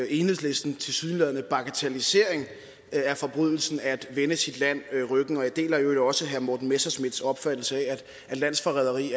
enhedslistens tilsyneladende bagatellisering af forbrydelsen at anvende sit land ryggen jeg deler i øvrigt også herre morten messerschmidts opfattelse af at landsforræderi